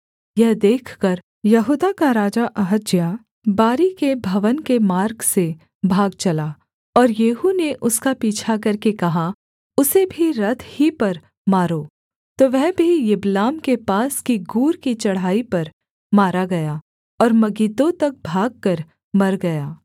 यह देखकर यहूदा का राजा अहज्याह बारी के भवन के मार्ग से भाग चला और येहू ने उसका पीछा करके कहा उसे भी रथ ही पर मारो तो वह भी यिबलाम के पास की गूर की चढ़ाई पर मारा गया और मगिद्दो तक भागकर मर गया